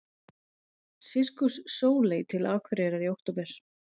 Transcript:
Sirkus Sóley til Akureyrar í október